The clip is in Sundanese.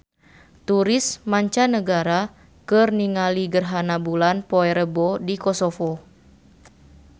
Turis mancanagara keur ningali gerhana bulan poe Rebo di Kosovo